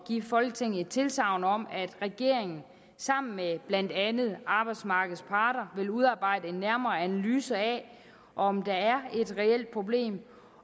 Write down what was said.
give folketinget et tilsagn om at regeringen sammen med blandt andet arbejdsmarkedets parter vil udarbejde en nærmere analyse af om der er et reelt problem